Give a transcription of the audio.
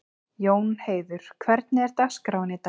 Jónheiður, hvernig er dagskráin í dag?